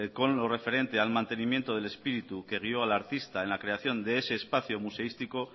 con lo referente al mantenimiento del espíritu que guió al artista en la creación de ese espacio museístico